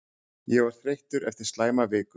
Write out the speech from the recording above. Ég var þreyttur eftir slæma viku.